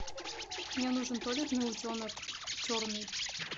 мне нужен туалетный утенок черный